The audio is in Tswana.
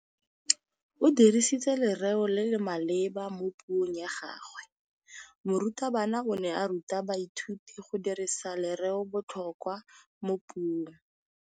O dirisitse lerêo le le maleba mo puông ya gagwe. Morutabana o ne a ruta baithuti go dirisa lêrêôbotlhôkwa mo puong.